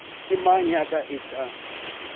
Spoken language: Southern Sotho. ke mang ya ka etsang